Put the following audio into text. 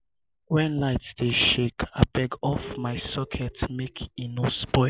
wen light dey shake abeg off my socket make e no spoil.